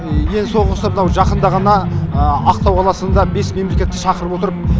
ең соңғысы мынау жақында ғана ақтау қаласында бес мемлекетті шақырып отырып